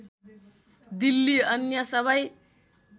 दिल्ली अन्य सबै